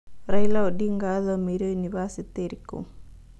Raila odinga athoĩmĩire nyũnibacĩtĩ ĩrĩkũ